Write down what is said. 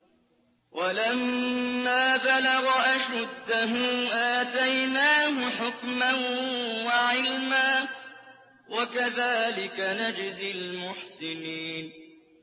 وَلَمَّا بَلَغَ أَشُدَّهُ آتَيْنَاهُ حُكْمًا وَعِلْمًا ۚ وَكَذَٰلِكَ نَجْزِي الْمُحْسِنِينَ